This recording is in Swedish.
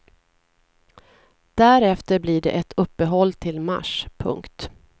Därefter blir det ett uppehåll till mars. punkt